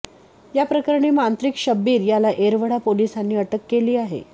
याप्रकरणी मांत्रिक शब्बीर याला येरवडा पोलिसांनी अटक केली आहे